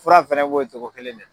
Fura fɛnɛ b'o cogo kelen de la